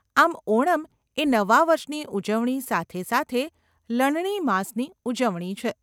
આમ ઓણમ એ નવા વર્ષની ઉજવણી, સાથે સાથે લણણી માસની ઉજવણી છે.